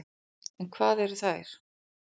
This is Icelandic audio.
En hvað eru þær?